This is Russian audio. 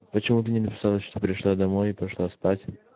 почему ты не написала что пришла домой и пошла спать